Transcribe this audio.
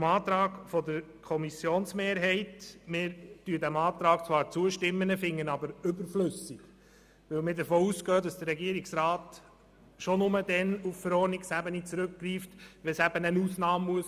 Dem Antrag der Kommissionsmehrheit werden wir zwar zustimmen, finden ihn aber überflüssig, weil wir davon ausgehen, dass der Regierungsrat sowieso nur dann auf die Verordnungsebene zurückgreift, wenn es eine Ausnahme geben muss.